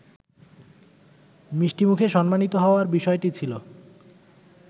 মিষ্টিমুখে সম্মানিত হওয়ার বিষয়টি ছিল